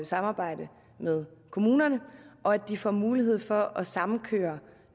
samarbejde med kommunerne og at de får mulighed for at sammenkøre